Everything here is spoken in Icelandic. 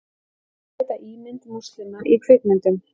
Vilja bæta ímynd múslima í kvikmyndum